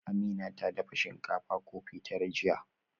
Amina ta dafa shinkafa kofi tara jiya